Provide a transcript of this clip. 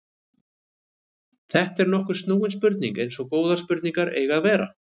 Þetta er nokkuð snúin spurning eins og góðar spurningar eiga að vera.